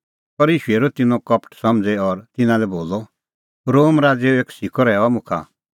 पर ईशू हेरी तिन्नें दिलो कपट समझ़ी और तिन्नां लै बोलअ रोम राज़ो एक सिक्कअ रहैऊआ मुखा